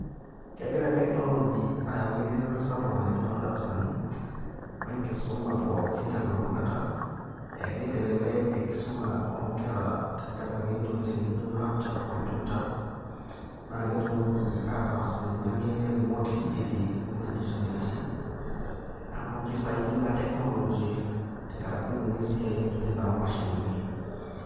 Kegira technology ayau eretoto sapuk oleng' toondarasani oo enkisumu pooki te elulung'ata, egira aitelelek enkisuma oonkera te enkaraki intokiting' nijo laptop, computer naa ketumoki ataas ninye ake remotely etii iwuejitin neetii, amu kisaidia ina technology tenakaraki ninye esiai naijio ina oomashinini.